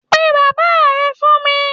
Pe bàbá rẹ fún mí!